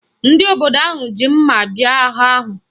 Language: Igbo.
Ndị obodo ahụ ji mma bịa agha ahụ